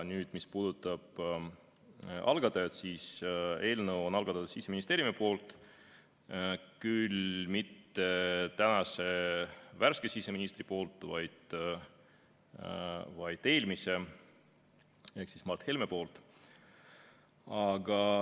Nüüd, mis puudutab algatajat, siis eelnõu on algatanud Siseministeerium, küll mitte tänane värske siseminister, vaid eelmine ehk Mart Helme.